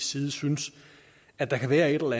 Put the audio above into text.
side synes at der kan være et eller